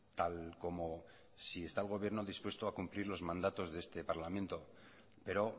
tal como si está el gobierno dispuesto a cumplir los mandatos de este parlamento pero